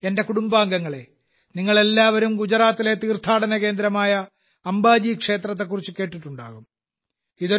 എന്റെ കുടുംബാംഗങ്ങളെ നിങ്ങൾ എല്ലാവരും ഗുജറാത്തിലെ തീർത്ഥാടന കേന്ദ്രമായ അംബാജി ക്ഷേത്രത്തെക്കുറിച്ച് കേട്ടിട്ടുണ്ടാകും